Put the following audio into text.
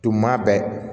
Tuma bɛɛ